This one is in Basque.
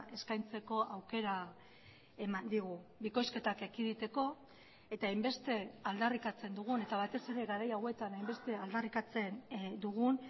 eskaintzeko aukera eman digu bikoizketak ekiditeko eta hainbeste aldarrikatzen dugun eta batez ere garai hauetan hainbeste aldarrikatzen dugun